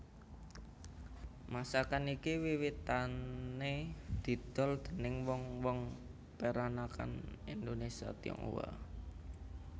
Masakan iki wiwitané didol déning wong wong peranakan Indonésia Tionghoa